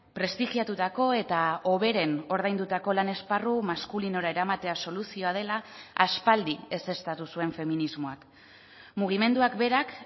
prestigiatutako eta hoberen ordaindutako lan esparru maskulinora eramatea soluzioa dela aspaldi ezeztatu zuen feminismoak mugimenduak berak